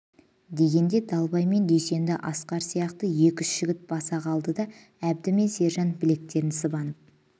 дегенде далбай мен дүйсенді асқар сияқты екі-үш жігіт баса қалды да әбді мен сержан білектерін сыбанып